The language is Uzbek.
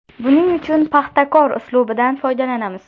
Buning uchun ‘Paxtakor’ uslubidan foydalanamiz.